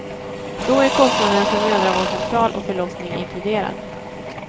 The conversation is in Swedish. Då är kostnaden för mödravårdscentral och förlossning inkluderad.